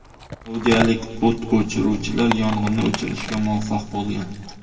Saudiyalik o‘t o‘chiruvchilar yong‘inni o‘chirishga muvaffaq bo‘lgan.